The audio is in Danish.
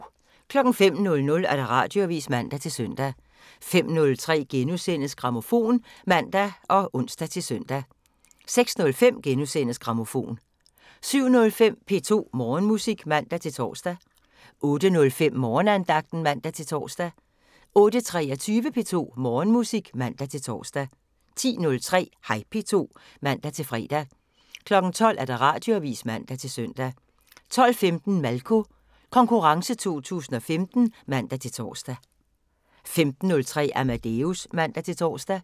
05:00: Radioavisen (man-søn) 05:03: Grammofon *(man og ons-søn) 06:05: Grammofon * 07:05: P2 Morgenmusik (man-tor) 08:05: Morgenandagten (man-tor) 08:23: P2 Morgenmusik (man-tor) 10:03: Hej P2 (man-fre) 12:00: Radioavisen (man-søn) 12:15: Malko Konkurrencen 2015 (man-tor) 15:03: Amadeus (man-tor)